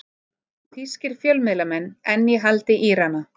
Þýskir fjölmiðlamenn enn í haldi Írana